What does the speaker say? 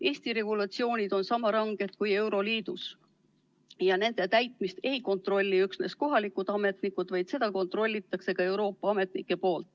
Eesti regulatsioonid on sama ranged kui euroliidus ja nende täitmist ei kontrolli üksnes kohalikud ametnikud, vaid ka Euroopa Liidu ametnikud.